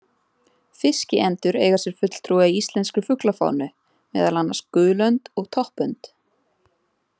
Fiskiendur eiga sér fulltrúa í íslenskri fuglafánu, meðal annars gulönd og toppönd.